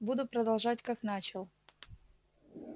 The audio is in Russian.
буду продолжать как начал